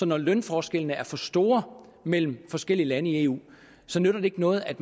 når lønforskellene er for store mellem forskellige lande i eu så nytter det ikke noget at